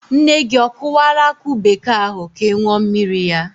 Nne gị o kụwala akụ bekee ahụ ka ị ṅụọ mmiri ya?